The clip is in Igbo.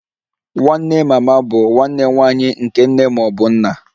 Nwanne mama bụ nwanne nwanyị nke nne ma ọ bụ nna